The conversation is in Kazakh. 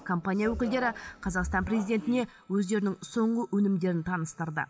компания өкілдері қазақстан президентіне өздерінің соңғы өнімдерін таныстырды